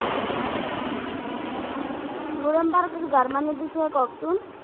Noenberg Germany এর বিষয়ে কহেন তো?